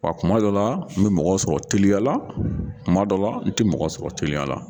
Wa kuma dɔ la n bɛ mɔgɔ sɔrɔ teliya la kuma dɔ la n tɛ mɔgɔ sɔrɔ teliya la.